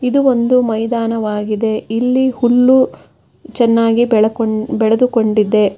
ಇದು ಒಂದು ಮೈದಾನವಾಗಿದೆ ಇಲ್ಲಿ ಹುಲ್ಲು ಚೆನ್ನಾಗಿ ಬೆಳಕೊಂಡ್ ಬೆಳೆದುಕೊಂಡಿದೆ.